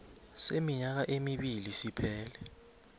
seminyaka emibili siphele